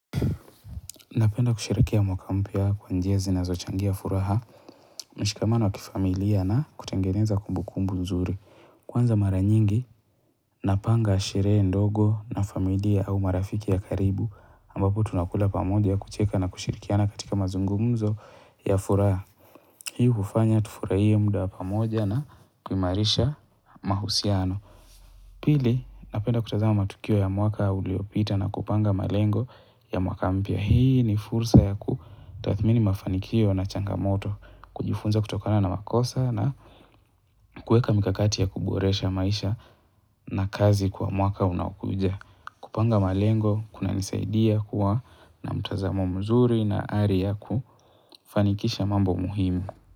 Napenda kusherehekea mwaka mpya kwa njia zinazochangia furaha, mshikamano wa kifamilia na kutengeneza kumbukumbu nzuri. Kwanza mara nyingi, napanga sherehe ndogo na familia au marafiki ya karibu, ambapo tunakula pamoja kucheka na kushirikiana katika mazungumzo ya furaha. Hii hufanya tufurahie muda pamoja na kuimarisha mahusiano. Pili, napenda kutazama matukio ya mwaka uliopita na kupanga malengo ya mwaka mpya. Hii ni fursa yakutathmini mafanikio na changamoto. Kujifunza kutokana na makosa na kueka mikakati ya kuboresha maisha na kazi kwa mwaka unaokuja. Kupanga malengo, kunanisaidia kuwa na mtazama mzuri na ari yakufanikisha mambo muhimu.